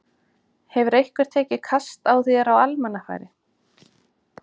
Hefur einhver tekið kast á þér á almannafæri?